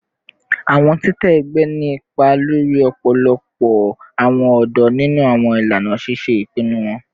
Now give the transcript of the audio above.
Awọn titẹ ẹgbẹ ni ipa lori ọpọlọpọ awọn ọdọ ninu awọn ilana ṣiṣe ipinnu wọn